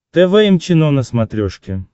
тэ вэ эм чено на смотрешке